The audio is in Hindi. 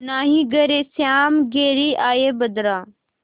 नाहीं घरे श्याम घेरि आये बदरा